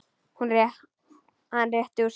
Hann rétti úr sér.